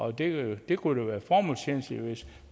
at det bliver